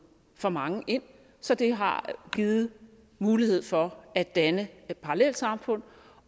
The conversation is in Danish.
for mange ind så det har givet mulighed for at danne parallelsamfund